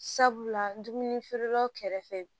Sabula dumuni feerelaw kɛrɛfɛ